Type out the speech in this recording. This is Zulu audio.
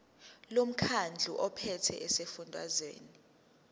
lomkhandlu ophethe esifundazweni